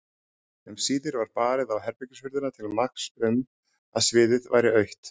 Um síðir var barið á herbergishurðina til marks um að sviðið væri autt.